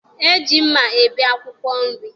E ji mma ebi akwụkwọ nri.